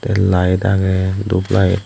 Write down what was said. tey light aagey dup light.